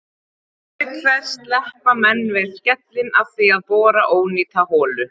Auk þess sleppa menn við skellinn af því að bora ónýta holu.